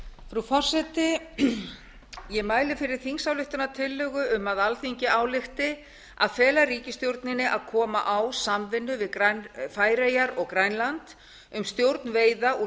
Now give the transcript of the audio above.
frú forseti ég mæli fyrir þingsályktunartillögu um að alþingi álykti að fela ríkisstjórninni að koma á samvinnu við færeyjar og grænland um stjórn veiða úr